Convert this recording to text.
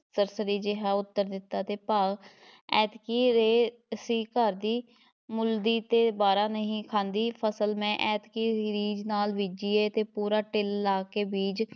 ਸਰਸਰੀ ਜਿਹਾ ਉੱਤਰ ਦਿੱਤਾ ਤੇ ਭਾ ਐਤਕੀ ਰੇਹ ਸੀ ਘਰ ਦੀ, ਮੁੱਲ ਦੀ ਤੇ ਵਾਰਾ ਨਹੀਂ ਖਾਂਦੀ ਫ਼ਸਲ ਮੈਂ ਐਂਤਕੀ ਰੀਝ ਨਾਲ਼ ਬੀਜੀ ਏ ਤੇ ਪੂਰਾ ਟਿੱਲ ਲਾ ਕੇ ਬੀਜ